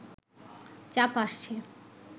চাপ আসছে